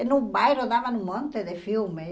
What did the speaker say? E no bairro dava um monte de filme.